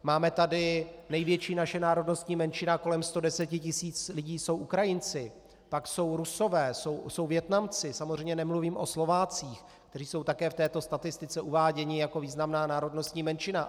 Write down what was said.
Máme tady - největší naše národnostní menšina, kolem 110 tisíc lidí, jsou Ukrajinci, pak jsou Rusové, jsou Vietnamci, samozřejmě nemluvím o Slovácích, kteří jsou také v této statistice uváděni jako významná národnostní menšina.